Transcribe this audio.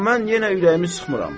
Amma mən yenə ürəyimi sıxmıram.